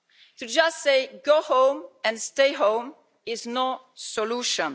To just say go home and stay home' is no solution.